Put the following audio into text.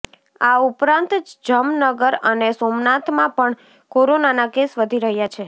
આ ઉપરાંત જમનગર અને સોમનાથમાં પણ કોરોનાના કેસ વધી રહ્યા છે